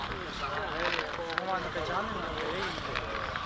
Hə, bu komanda Can deyən yeri deyir.